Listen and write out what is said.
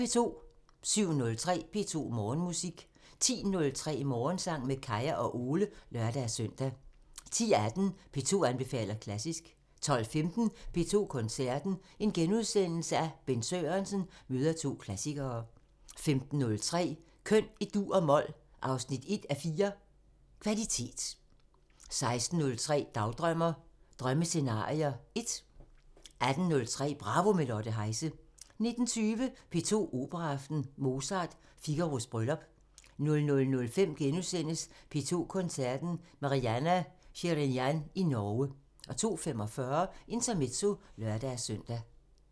07:03: P2 Morgenmusik 10:03: Morgensang med Kaya og Ole (lør-søn) 10:18: P2 anbefaler klassisk 12:15: P2 Koncerten – Bent Sørensen møder to klassikere * 15:03: Køn i dur og mol – 1:4 Kvalitet 16:03: Dagdrømmer: Drømmescenarier 1 18:03: Bravo – med Lotte Heise 19:20: P2 Operaaften – Mozart: Figaros bryllup 00:05: P2 Koncerten – Marianna Shirinyan i Norge * 02:45: Intermezzo (lør-søn)